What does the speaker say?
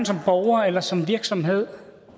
som borger eller som virksomhed